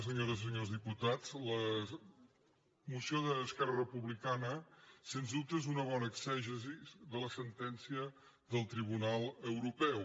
senyores i senyors diputats la moció d’esquerra republicana sens dubte és una bona exegesi de la sentència del tribunal europeu